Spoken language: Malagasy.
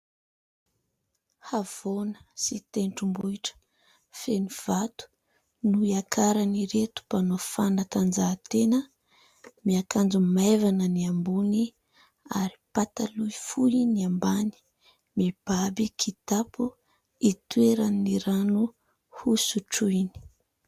Havoana sy tentrombohitra feno vato no iakaran'ireto mpanao fanatanjahan-tena, miakanjo maivana ny ambony ary pataloha fohy ny ambany, mibaby kitapo itoeran'ny rano hosotroiny.